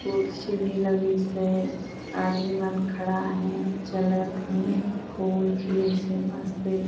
कुर्सी भी लगीस हे आदमी मन खड़ा हे चलत हे फूल खिली से मस्ते --